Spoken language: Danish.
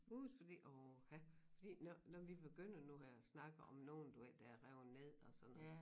Huse fordi åha fordi når når vi begynder nu her at snakek om nogen du ved der er revet ned og sådan noget